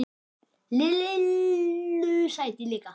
Lillu sæti líka.